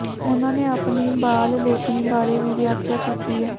ਉਨ੍ਹਾਂ ਨੇ ਆਪਣੀ ਬਾਲ ਲੇਖਣੀ ਬਾਰੇ ਵੀ ਵਿਆਖਿਆ ਕੀਤੀ ਹੈ